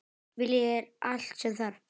Vilji er allt sem þarf.